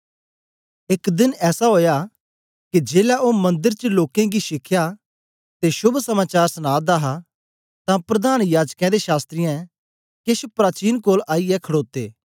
एक दिन ऐसा ओया के जेलै ओ मंदर च लोकें गी शिखया ते शोभ समाचार सना दा हा तां प्रधान याजकें ते शास्त्री केछ प्राचीन कोल आईयै खडोते